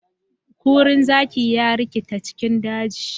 Kurin zaki ya rikita cikin daji.